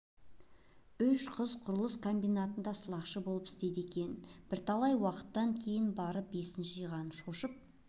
үш қыз құрылыс комбинатында сылақшы болып істейді екен бірталай уақыттан кейін барып есін жиған шошып